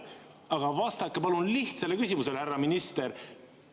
Aga vastake palun lihtsale küsimusele, härra minister.